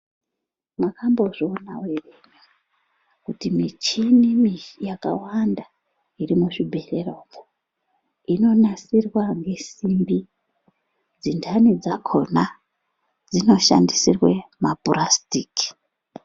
"Makambozviona ere kuti muchini yakawanda iri muzvimabhohlera umo, inonasirwa ngesimbi dzendanidzakhona dzinoshandisirwe mapurasiki?."